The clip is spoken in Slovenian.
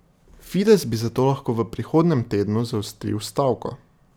Fides bi zato lahko v prihodnjem tednu zaostril stavko.